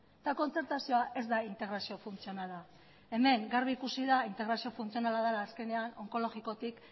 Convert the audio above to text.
eta kontzertazioa ez da integrazio funtzionala hemen garbi ikusi da integrazio funtzionala dela azkenean onkologikotik